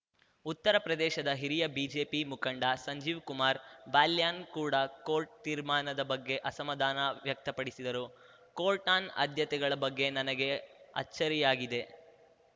ಉತ್ತಪ್ರದೇಶದ ಹಿರಿಯ ಬಿಜೆಪಿ ಮುಖಂಡ ಸಂಜೀವ್‌ ಕುಮಾರ್ ಬಾಲ್ಯಾನ್‌ ಕೂಡ ಕೋರ್ಟ್‌ ತೀರ್ಮಾನದ ಬಗ್ಗೆ ಅಸಮಾಧಾನ ವ್ಯಕ್ತಪಡಿಸಿದರು ಕೋರ್ಟ್‌ನ ಆದ್ಯತೆಗಳ ಬಗ್ಗೆ ನನಗೆ ಅಚ್ಚರಿಯಾಗಿದೆ